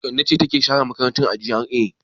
Kande ce take share makaranta a GRA.